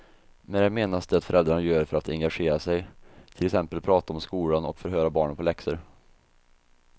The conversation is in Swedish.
Med det menas det föräldrarna gör för att engagera sig, till exempel prata om skolan och förhöra barnen på läxor.